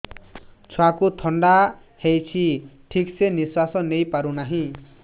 ଛୁଆକୁ ଥଣ୍ଡା ହେଇଛି ଠିକ ସେ ନିଶ୍ୱାସ ନେଇ ପାରୁ ନାହିଁ